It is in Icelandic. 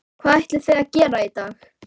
Hvað ætlið þið að gera í dag?